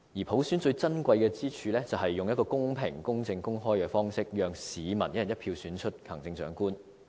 普選最珍貴之處是用一個公平、公正、公開的方式，讓市民"一人一票"選出行政長官。